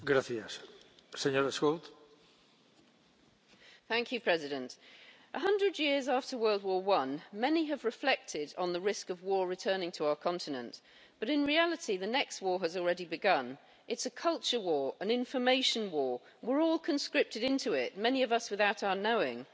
Mr President, a hundred years after the First World War, many have reflected on the risk of war returning to our continent, but in reality the next war has already begun. It's a culture war, an information war, and we're all conscripted into it, many of us without our knowing.